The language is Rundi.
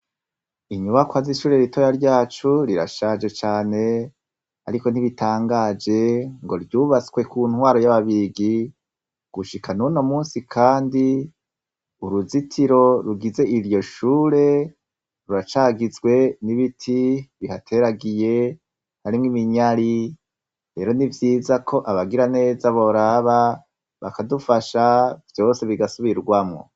Inyubakwa z'ishure ritoya ryacu rirashaje cane, ariko ntibitangaje ngo ryubatswe ku ntwaro y'ababigi gushika nuno musi, kandi uruzitiro rugize iryo shure ruracagizwe n'ibiti bihateragiye arimwo iminyari bero ni vyiza ko abagira neza boraba bakadufasha vyose bigasubirwamwo.